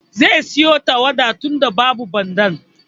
Zai siyo tarwaɗa tunda babu Bandar.